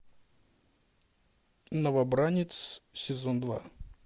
новобранец сезон два